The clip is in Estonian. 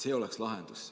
See oleks lahendus.